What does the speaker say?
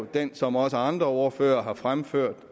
den som også andre ordførere har fremført